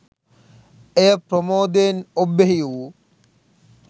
එය ප්‍රමෝදයෙන් ඔබ්බෙහි වු